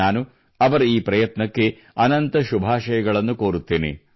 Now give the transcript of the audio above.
ನಾನು ಅವರ ಈ ಪ್ರಯತ್ನಕ್ಕೆ ಅನಂತ ಶುಭಾಷಯಗಳನ್ನು ಕೋರುತ್ತೇನೆ